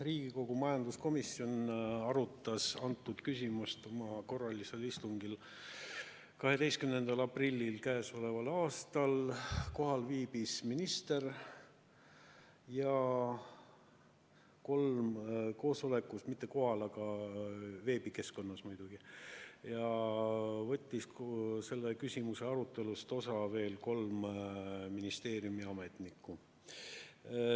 Riigikogu majanduskomisjon arutas antud küsimust oma korralisel istungil 12. aprillil k.a. Kohal viibis minister – mitte kohal, aga veebikeskkonnas muidugi – ja selle küsimuse arutelust võttis osa veel kolm ministeeriumi ametnikku.